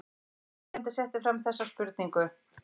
Annar spyrjandi setti fram þessa spurningu: